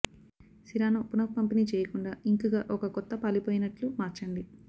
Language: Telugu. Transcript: సిరాను పునఃపంపిణీ చేయకుండా ఇంక్ గా ఒక కొత్త పాలిపోయినట్లు మార్చండి